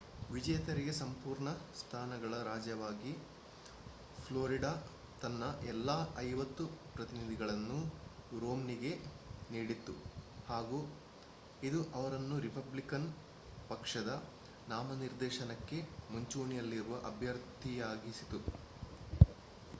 ವಿಜೇತರಿಗೆ ಸಂಪೂರ್ಣ ಸ್ಥಾನಗಳ ರಾಜ್ಯವಾಗಿ ಫ್ಲೋರಿಡಾ ತನ್ನ ಎಲ್ಲಾ ಐವತ್ತು ಪ್ರತಿನಿಧಿಗಳನ್ನು ರೊಮ್ನಿಗೆ ನೀಡಿತು ಹಾಗು ಇದು ಅವರನ್ನು ರಿಪಬ್ಲಿಕನ್ ಪಕ್ಷದ ನಾಮನಿರ್ದೇಶನಕ್ಕೆ ಮುಂಚೂಣಿಯಲ್ಲಿರುವ ಅಭ್ಯರ್ಥಿಯಾಗಿಸಿತು